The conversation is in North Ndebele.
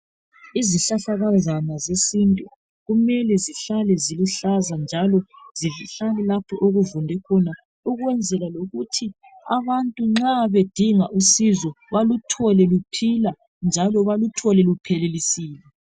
Izihlahlakazana zesintu kumele zihlale ziluhlaza njalo zihlale lapho okuvunde khona ukwenzela abantu nxa bedinga usizo baluthole luphila njalo baluthole luphelelisiwe